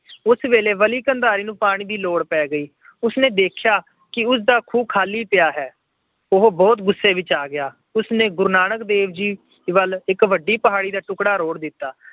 ਉਸ ਵੇਲੇ ਬਲੀ ਕੰਧਾਰੀ ਨੂੰ ਪਾਣੀ ਦੀ ਲੋੜ ਪੈ ਗਈ। ਉਸਨੇ ਦੇਖਿਆ ਉਸਦਾ ਖੂਹ ਖਾਲੀ ਪਿਆ ਹੈ। ਉਹ ਬਹੁਤ ਗੁੱਸੇ ਵਿੱਚ ਆ ਗਿਆ। ਉਸਨੇ ਗੁਰੂ ਨਾਨਕ ਦੇਵ ਜੀ ਵੱਲ ਇੱਕ ਵੱਡੀ ਪਹਾੜੀ ਦਾ ਟੁੱਕੜਾ ਰੋੜ ਦਿੱਤਾ।